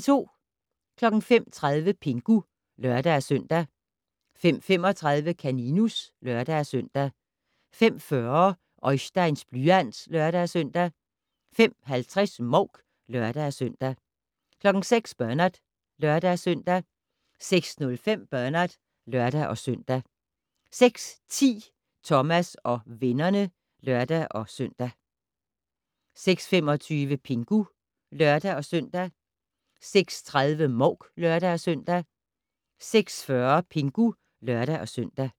05:30: Pingu (lør-søn) 05:35: Kaninus (lør-søn) 05:40: Oisteins blyant (lør-søn) 05:50: Mouk (lør-søn) 06:00: Bernard (lør-søn) 06:05: Bernard (lør-søn) 06:10: Thomas og vennerne (lør-søn) 06:25: Pingu (lør-søn) 06:30: Mouk (lør-søn) 06:40: Pingu (lør-søn)